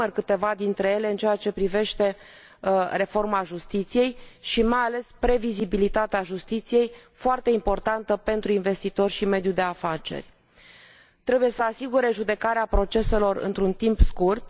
O să enumăr câteva dintre ele în ceea ce privește reforma justiției și, mai ales, previzibilitatea justiției, foarte importantă pentru investitori și mediul de afaceri trebuie să asigure judecarea proceselor într un timp scurt